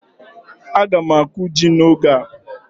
Aga m akụ ji n'oge a.